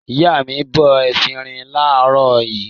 Ìyá mi bọ efirin láàárọ̀ yìí.